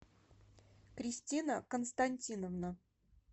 кристина константиновна